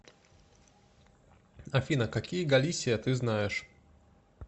афина какие галисия ты знаешь